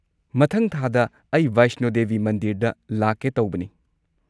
ꯃꯊꯪ ꯊꯥꯗ ꯑꯩ ꯕꯩꯁꯅꯣ ꯗꯦꯕꯤ ꯃꯟꯗꯤꯔꯗ ꯂꯥꯛꯀꯦ ꯇꯧꯕꯅꯤ꯫